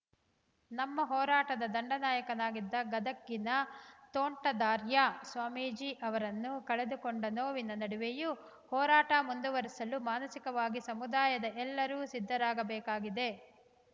ನಮ್ಮ ಹೋರಾಟದ ದಂಡನಾಯಕರಾಗಿದ್ದ ಗದಗಿನ ತೋಂಟದಾರ್ಯ ಸ್ವಾಮೀಜಿ ಅವರನ್ನು ಕಳೆದುಕೊಂಡ ನೋವಿನ ನಡುವೆಯೂ ಹೋರಾಟ ಮುಂದುವರೆಸಲು ಮಾನಸಿಕವಾಗಿ ಸಮುದಾಯದ ಎಲ್ಲರೂ ಸಿದ್ಧರಾಗಬೇಕಾಗಿದೆ